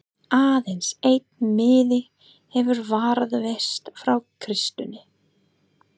Aðeins einn miði hefur varðveist frá Kristínu